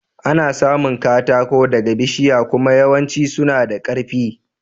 Ana samun katako daga bishiya kuma yawancin suna da karfi.